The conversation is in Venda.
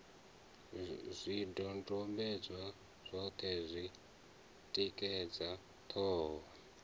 zwidodombedzwa zwoṱhe zwi tikedza ṱhoho